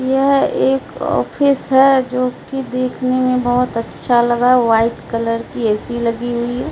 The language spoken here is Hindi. यह एक ऑफिस है जो की देखने में बहोत अच्छा लगा व्हाइट कलर की ए_सी लगी हुई है।